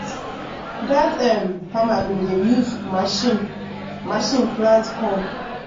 dat um farmer bin dey use machine machine plant corn.